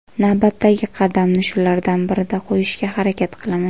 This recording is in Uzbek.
Navbatdagi qadamni shulardan birida qo‘yishga harakat qilaman.